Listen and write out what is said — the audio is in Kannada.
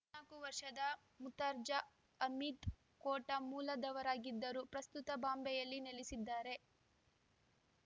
ನಾಕು ವರ್ಷದ ಮುರ್ತಾಜ ಹಮೀದ್ ಕೋಟಾ ಮೂಲದವರಾಗಿದ್ದರೂ ಪ್ರಸ್ತುತ ಬಾಂಬೆಯಲ್ಲಿ ನೆಲೆಸಿದ್ದಾರೆ